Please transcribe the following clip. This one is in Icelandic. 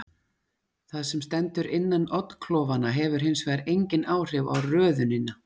Það sem stendur innan oddklofanna hefur hins vegar engin áhrif á röðunina.